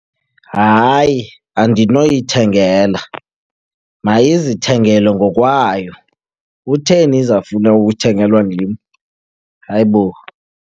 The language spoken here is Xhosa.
Hayi, andinoyithengela. Mayizithengele ngokwayo. Kutheni izawufuna uthengelwa ndim? Hayibo!